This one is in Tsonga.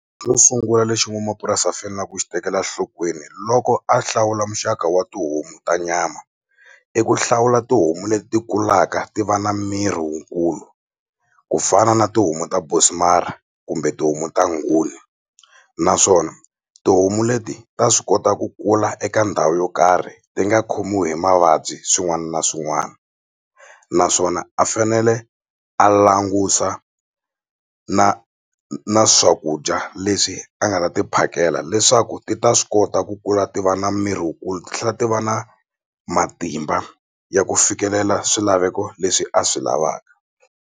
Xo sungula lexi n'wanamapurasi a fanela ku xi tekela nhlokweni loko a hlawula muxaka wa tihomu ta nyama i ku hlawula tihomu leti kulaka ti va na miri wukulu ku fana na tihomu ta bonsmara kumbe tihomu ta nguni naswona tihomu leti ta swi kota ku kula eka ndhawu yo karhi ti nga khomiwi hi mavabyi swin'wana na swin'wana naswona a fanele a langusa na na swakudya leswi a nga ta ti phakela leswaku ti ta swi kota ku kula ti va na miri wukulu ti tlhela ti va na matimba ya ku fikelela swilaveko leswi a swi lavaka.